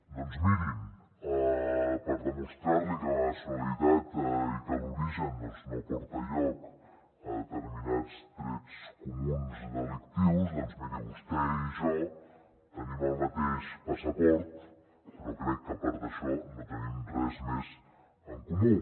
doncs mirin per demostrar li que la nacionalitat i que l’origen no porten lloc a determinats trets comuns delictius miri vostè i jo tenim el mateix passaport però crec que a part d’això no tenim res més en comú